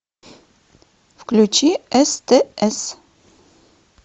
включи стс